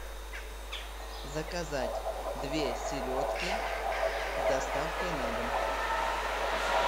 заказать две селедки с доставкой на дом